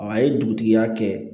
A ye dugutigi ya kɛ